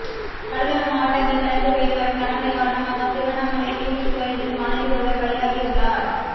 கடலோர மாவட்டங்களில் தொடர்ந்து பெய்து வரும் கனமழை காரணமாக திருவண்ணாமலையில் வீட்டின் சுவர் இடிந்து மாணவி ஒருவர் பலியாகியுள்ளார்